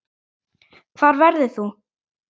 Hvar verður þú?